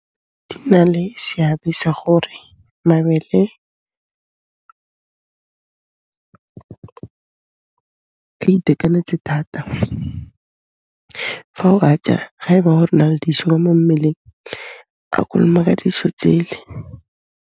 E na le seabe sa gore mabele a itekanetse thata. Fa o a ja ga e ba gore o na le diso ka mo mmeleng, a konomaka ditso tsele.